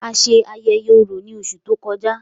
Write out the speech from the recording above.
A ṣe ayẹyẹ Orò ni óṣù to kọja.